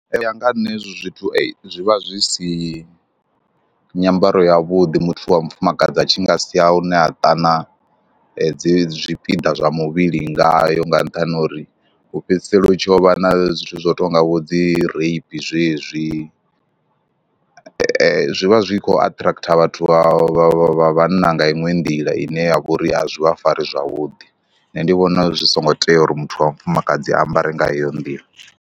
Ee u ya nga ha nṋe hei hezwo zwithu zwi vha zwi si nyambaro yavhuḓi muthu wa mufumakadzi a tshi nga sia hune ha ṱanzwa dzi zwipiḓa zwa muvhili ngayo nga nṱhani ha uri hu fhedzisela u tshi yo vha na zwithu zwo tou nga vho dzi reipi zwezwi. Zwi vha zwi khou aṱhirakhitha vhathu vha vha vha vhanna nga iṅwe nḓila ine ya vha uri a zwi vha fari zwavhuḓi. Nṋe ndi vhona zwi songo tea uri muthu wa mufumakadzi ambare nga heyo nḓila.